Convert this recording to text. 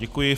Děkuji.